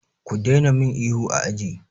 Ku daina min ihu a aji!